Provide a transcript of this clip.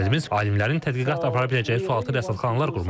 Məqsədimiz alimlərin tədqiqat apara biləcəyi sualtı rəsdxanaalar qurmaqdır.